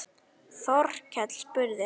Þorkell spurði